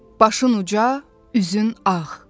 Başın uca, üzün ağ.